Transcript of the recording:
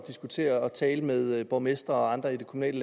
tale og tale med borgmestre og andre i det kommunale